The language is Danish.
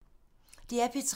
DR P3